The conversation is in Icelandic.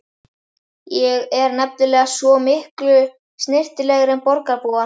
Ég er nefnilega svo miklu snyrtilegri en borgarbúar.